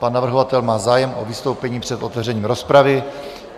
Pan navrhovatel má zájem o vystoupení před otevřením rozpravy.